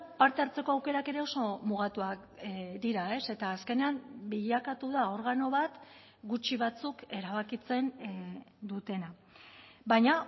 parte hartzeko aukerak ere oso mugatuak dira eta azkenean bilakatu da organo bat gutxi batzuk erabakitzen dutena baina